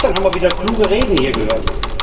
Gestern haben wir wieder kluge Reden hier gehört.